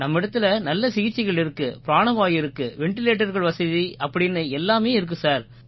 நம்மிடத்திலே நல்ல சிகிச்சைகள் இருக்கு பிராணவாயு இருக்கு வெண்டிலேட்டர்கள் வசதி அப்படீன்னு எல்லாமே இருக்கு சார்